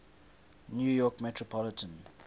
new york metropolitan